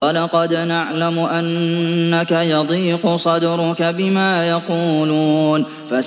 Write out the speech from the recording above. وَلَقَدْ نَعْلَمُ أَنَّكَ يَضِيقُ صَدْرُكَ بِمَا يَقُولُونَ